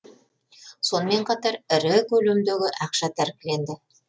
сонымен қатар ірі көлемдегі ақша тәркіленді